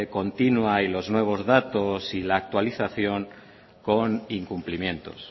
continua y los nuevos datos y las actualización con incumplimientos